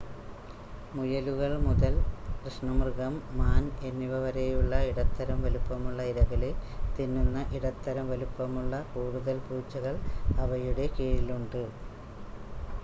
മുയലുകൾ മുതൽ കൃഷ്ണമൃഗം മാൻ എന്നിവ വരെയുള്ള ഇടത്തരം വലുപ്പമുള്ള ഇരകളെ തിന്നുന്ന ഇടത്തരം വലുപ്പമുള്ള കൂടുതൽ പൂച്ചകൾ അവയുടെ കീഴിലുണ്ട്